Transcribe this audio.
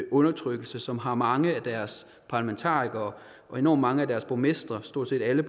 undertrykkelse og som har mange af deres parlamentarikere og enormt mange af deres borgmestre stort set alle